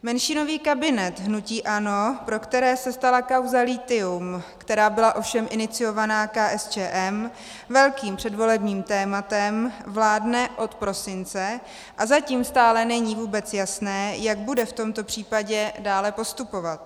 Menšinový kabinet hnutí ANO, pro které se stala kauza lithium, která byla ovšem iniciovaná KSČM, velkým předvolebním tématem, vládne od prosince a zatím stále není vůbec jasné, jak bude v tomto případě dále postupovat.